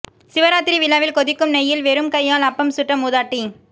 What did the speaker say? சிவராத்திரி விழாவில் கொதிக்கும் நெய்யில் வெறும் கையால் அப்பம் சுட்ட மூதாட்டி